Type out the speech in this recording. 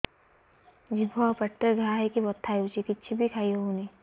ଜିଭ ଆଉ ପାଟିରେ ଘା ହେଇକି ବଥା ହେଉଛି କିଛି ବି ଖାଇହଉନି